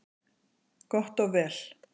Gott og vel.